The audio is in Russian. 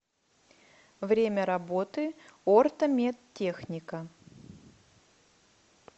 время работы ортомедтехника